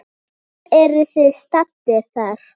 Hvar eruð þið staddir þar?